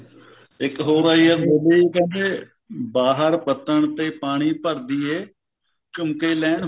ਇੱਕ ਹੋਰ ਆਈ ਆ ਕਹਿੰਦੇ ਕਹਿੰਦੇ ਬਾਹਰ ਪੱਤਨ ਤੇ ਪਾਣੀ ਭਰਦੀਏ ਝੁੰਮਕੇ ਲੈਣ